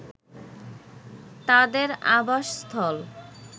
তাদের আবাসস্থল